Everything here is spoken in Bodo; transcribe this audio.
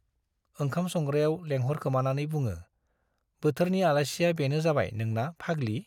ओंखाम संग्रायाव लेंहरखोमानानै बुङो- बोथोरनि आलासिया बेनो जाबाय नोंना फाग्लि ?